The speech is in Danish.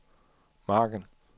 margen